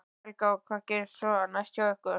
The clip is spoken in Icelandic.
Helga: Og hvað gerist svo næst hjá ykkur?